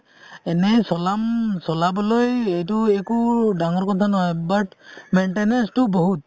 এনে চলাম চালাবলৈ এইটো একো ডাঙৰ কথা নহয় but maintenance তো বহুত